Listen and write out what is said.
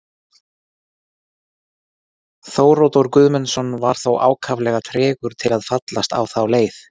Þóroddur Guðmundsson var þó ákaflega tregur til að fallast á þá leið.